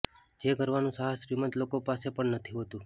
જે કરવાનું સાહસ શ્રીમંત લોકો પાસે પણ નથી હોતું